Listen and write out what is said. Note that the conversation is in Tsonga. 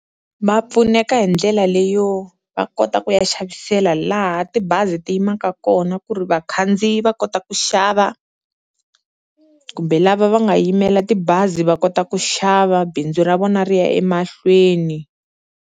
Ma pfuneka hi ndlela leyo va kota ku ya xavisela laha tibazi ti yimaka kona, ku ri vakhandziyi va kota ku xava kumbe lava va nga yimela tibazi va kota ku xava bindzu ra vona ri ya emahlweni.